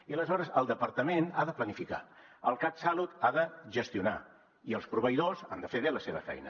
i aleshores el departament ha de planificar el catsalut ha de gestionar i els proveïdors han de fer bé la seva feina